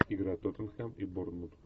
игра тоттенхэм и борнмут